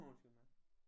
Undskyld mig